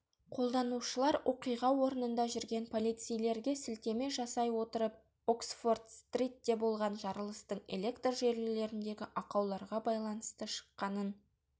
қолданушылар оқиға орнында жүрген полицейлерге сілтеме жасай отырып оксфорд-стритте болған жарылыстың электр желілеріндегі ақауларға байланысты шыққанын